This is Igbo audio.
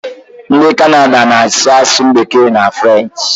Ndị Kanada na-asụ asụsụ bekee na frenchị